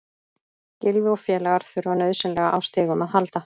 Gylfi og félagar þurfa nauðsynlega á stigum að halda.